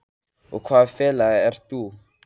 Og í hvaða félagi ert þú?